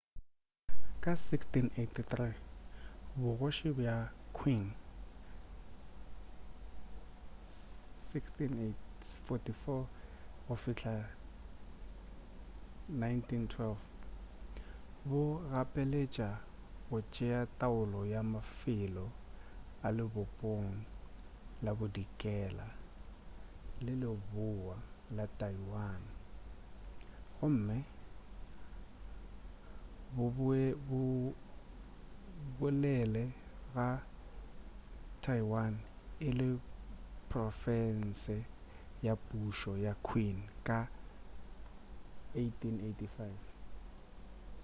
ka 1683 bogoši bja qing 1644-1912 bo gapeletša go tšea taolo ya mafelo a lebopong la bodikela le leboa a taiwan gomme bo bolele ga taiwan e le profense ya pušo ya qing ka 1885